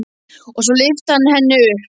Og svo lyfti hann henni upp.